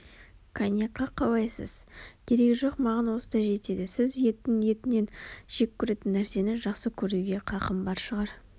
коньякқа қалайсыз керегі жоқ маған осы да жетеді сіз иттің етінен жек көретін нәрсені жақсы көруге қақым бар шығар